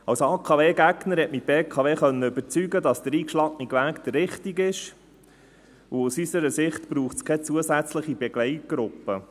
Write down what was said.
Als AKW-Gegner konnte mich die BKW überzeugen, dass der eingeschlagene Weg der richtige ist, und aus unserer Sicht braucht es keine zusätzliche Begleitgruppe.